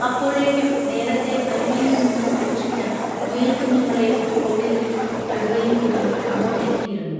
അപ്പോഴേക്കും നേരത്തേ അരുവിയിൽ നിന്നും രക്ഷിച്ച മുയൽക്കുഞ്ഞുങ്ങളേയും തോളിലിരുത്തി കടുവയും പുലിയും അങ്ങോട്ടെത്തിയിരുന്നു